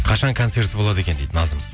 қашан концерті болады екен дейді назым